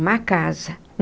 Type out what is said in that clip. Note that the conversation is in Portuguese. Uma casa.